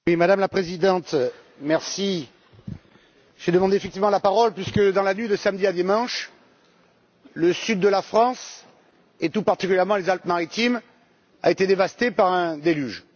Madame la Présidente, je demande effectivement la parole puisque, dans la nuit de samedi à dimanche, le sud de la France, et tout particulièrement les Alpes Maritimes, a été dévasté par un déluge.